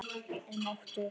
Er máttug.